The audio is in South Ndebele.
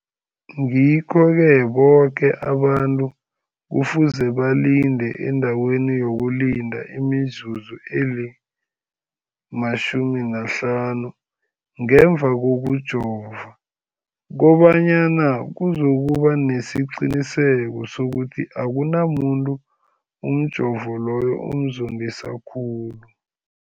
Ngikho-ke boke abantu kufuze balinde endaweni yokulinda imizuzu eli-15 ngemva kokujova, koba nyana kuzokuba nesiqiniseko sokuthi akunamuntu umjovo loyo omzondisa khulu.